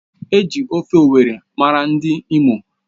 Eji ofe owerri mara ndi Imo.